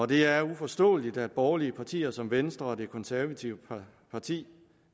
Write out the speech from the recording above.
det er uforståeligt at borgerlige partier som venstre og det konservative folkeparti